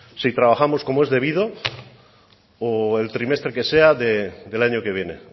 si trabajamos como es debido o el trimestre que sea del año que viene